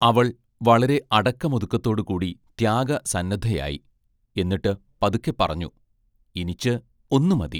അവൾ വളരെ അടക്കമൊതുക്കത്തോടുകൂടി ത്യാഗസന്നദ്ധയായി; എന്നിട്ട് പതുക്കെപ്പറഞ്ഞു: ഇനിച്ച് ഒന്നു മതി.